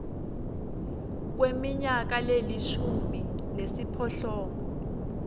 kweminyaka lelishumi nesiphohlongo